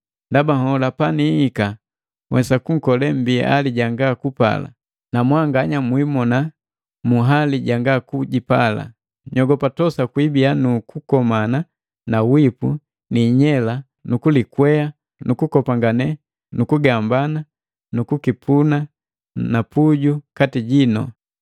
Ndaba nhola panihika nhwesa kunkole mbi ali janga kupala, namwanganya mwimona mu hali janga kujipala. Nyogopa tosa kwiibiya nu kukomana na wipu ni inyela nukulikweha nu kukopangane nu kugambani na kukipuna na puju kati jino.